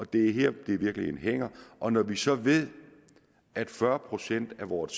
det i virkeligheden hænger og når vi så ved at fyrre procent af vores